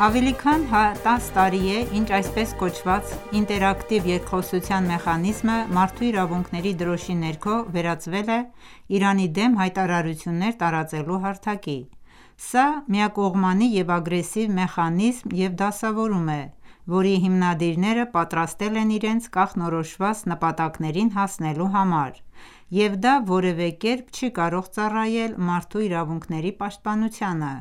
Ավելի քան 10 տարի է ինչ այսպես կոչված ինտերակտիվ երկխոսության մեխանիզմը մարդու իրավունքների դրոշի ներքո վերածվել է Իրանի դեմ հայտարարություններ տարածելու հարթակի: Սա միակողմանի և ագրեսիվ մեխանիզմ և դասավորում է, որի հիմնադիրները պատրաստել են իրենց կանխորոշված ​​նպատակներին հասնելու համար, և դա որևէ կերպ չի կարող ծառայել մարդու իրավունքների պաշտպանությանը։